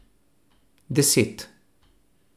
Deset.